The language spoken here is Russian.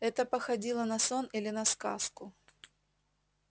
это походило на сон или на сказку